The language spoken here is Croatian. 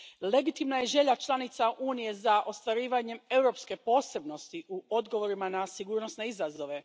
Legitimna je želja članica Unije za ostvarivanjem europske posebnosti u odgovorima na sigurnosne izazove.